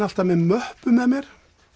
alltaf með möppu með mér